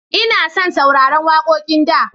Ina son sauraran wakoƙin da.